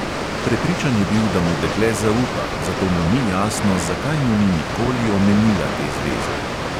Prepričan je bil, da mu dekle zaupa, zato mu ni jasno, zakaj mu ni nikoli omenila te zveze.